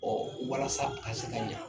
Ɔɔ walasa a ka se ka na.